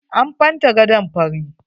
An fenta gadon fari.